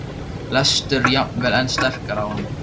lestur jafnvel enn sterkar á hann.